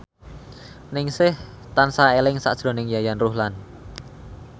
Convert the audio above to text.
Ningsih tansah eling sakjroning Yayan Ruhlan